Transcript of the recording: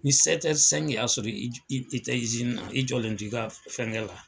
Ni [c'i y'a sɔrɔ i tɛ i tɛ na i jɔlen ti ka fɛn kɛ la